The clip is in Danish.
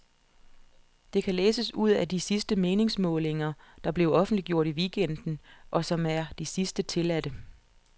Det kan læses ud af de sidste meningsmålinger, der blev offentliggjort i weekenden, og som er de sidste tilladte.